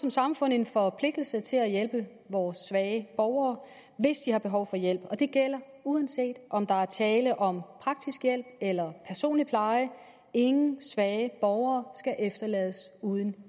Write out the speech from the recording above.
som samfund en forpligtelse til at hjælpe vores svage borgere hvis de har behov for hjælp og det gælder uanset om der er tale om praktisk hjælp eller personlig pleje ingen svage borgere skal efterlades uden